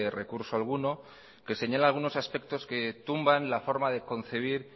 recurso alguno que señala algunos aspectos que tumban la forma de concebir